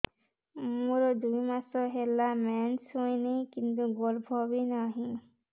ମୋର ଦୁଇ ମାସ ହେଲା ମେନ୍ସ ହେଇନି କିନ୍ତୁ ଗର୍ଭ ବି ନାହିଁ